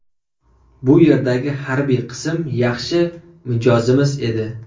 Bu yerdagi harbiy qism yaxshi mijozimiz edi.